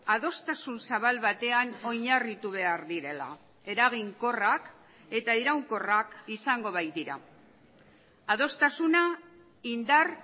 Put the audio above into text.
adostasun zabal batean oinarritu behar direla eraginkorrak eta iraunkorrak izango baitira adostasuna indar